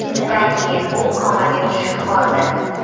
Shundan keyin u komaga tushib qoldi.